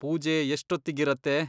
ಪೂಜೆ ಎಷ್ಟೊತ್ತಿಗಿರತ್ತೆ?